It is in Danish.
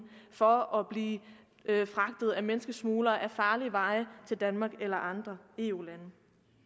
for at blive fragtet af menneskesmuglere ad farlige veje til danmark eller andre eu lande